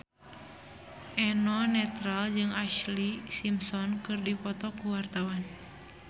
Eno Netral jeung Ashlee Simpson keur dipoto ku wartawan